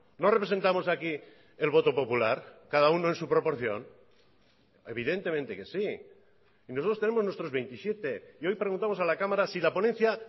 no representamos aquí el voto popular cada uno en su proporción evidentemente que sí y nosotros tenemos nuestros veintisiete y hoy preguntamos a la cámara si la ponencia